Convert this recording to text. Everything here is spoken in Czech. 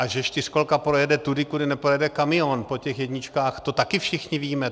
A že čtyřkolka projede tudy, kudy neprojede kamion po těch jedničkách, to taky všichni víme.